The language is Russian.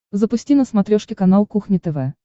запусти на смотрешке канал кухня тв